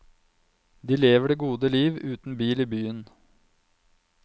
De lever det gode liv uten bil i byen.